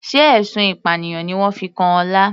Sé ẹ̀sùn ìpànìyàn ni wọ́n fi kan Ọlá.